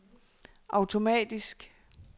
automatisk